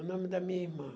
O nome da minha irmã.